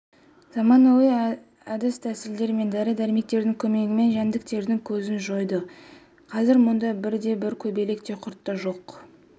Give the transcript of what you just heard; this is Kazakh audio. заманауи әдіс-тәсілдер мен дәрі-дәрмектің көмегімен жәндіктердің көзін жойдық қазір мұнда бірде-бір көбелек те құрт та жоқ